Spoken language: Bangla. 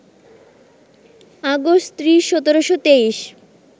আগস্ট ৩০, ১৭২৩